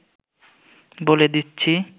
বলে দিচ্ছি